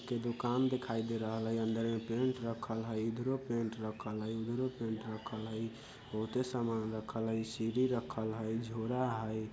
के दुकान दिखाई दे रहल हई अंदर पेंट रखल हई इधरो पेंट रखेल हई उधरो पेंट रखेल हई बहोते समान रखल हई सीढ़ी रखल हई झोरा हई।